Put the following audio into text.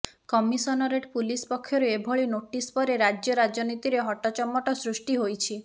commissionerate police ପକ୍ଷରୁ ଏଭଳି notice ପରେ ରାଜ୍ୟ ରାଜନୀତିରେ ହଟଚମଟ ସୃଷ୍ଟି ହୋଇଛି